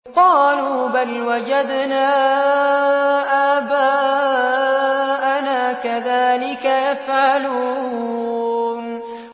قَالُوا بَلْ وَجَدْنَا آبَاءَنَا كَذَٰلِكَ يَفْعَلُونَ